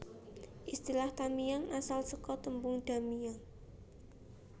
Istilah Tamiang asal saka tembung Da Miang